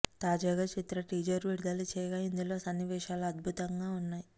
తాజాగా చిత్ర టీజర్ విడుదల చేయగా ఇందులో సన్నివేశాలు అద్భుతంగా ఉన్నాయి